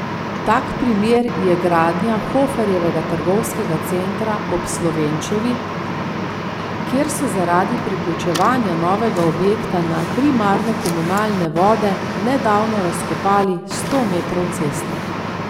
Tak primer je gradnja Hoferjevega trgovskega centra ob Slovenčevi, kjer so zaradi priključevanja novega objekta na primarne komunalne vode nedavno razkopali sto metrov ceste.